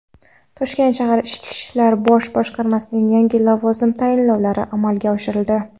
Toshkent shahar Ichki ishlar bosh boshqarmasida yangi lavozim tayinlovlari amalga oshirildi.